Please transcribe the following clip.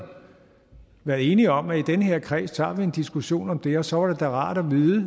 været enige om at i den her kreds tager vi en diskussion om det og så var det da rart at vide